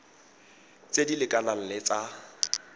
tse di lekanang le tsa